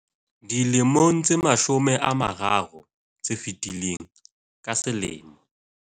Dilemong tse mashome a mararo tse fetileng, ka selemo